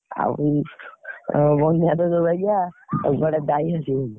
ଆଉ ବନ୍ୟା ଟା ଯୋଉ ବାଗିଆ